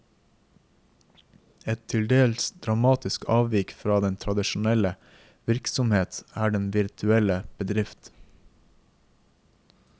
Et til dels dramatisk avvik fra den tradisjonelle virksomhet er den virtuelle bedrift.